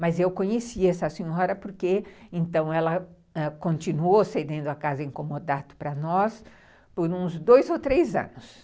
Mas eu conheci essa senhora porque então ela ãh continuou cedendo a casa para nós por uns dois ou três anos.